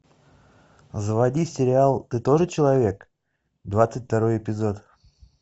заводи сериал ты тоже человек двадцать второй эпизод